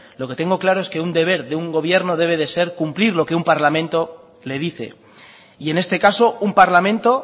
lo que tengo claro es que un deber de un gobierno debe de ser cumplir lo que un parlamento le dice y en este caso un parlamento